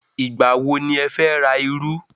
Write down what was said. Ìgbà wọ ni ẹ fẹ́ ra iru?